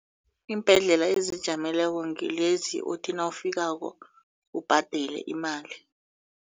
Iimbhedlela ezizijameleko ngilezi othi nawufikako ubhadele imali.